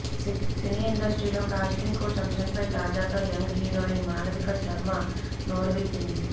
సినీ ఇండస్ట్రీలో casting couch అంశంపై తాజాగా యంగ్ హీరోయిన్ మాళవిక శర్మ నోరువిప్పింది